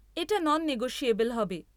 এটা non negotiable হবে।